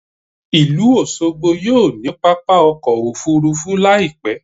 Ìlú Òṣogbo yóò ní pápá ọkọ̀ Òfurufú láì pẹ́.